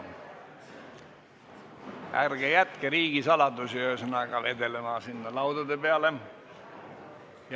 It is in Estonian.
Ühesõnaga, ärge jätke riigisaladusi laudade peale vedelema.